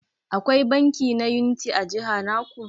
Akwai banki na Unity a jiha naku?